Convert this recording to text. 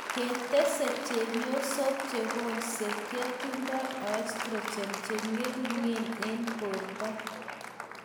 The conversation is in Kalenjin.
Ketese, chepyosok chekulse kotindoi oestrogen cheng'eringen eng borto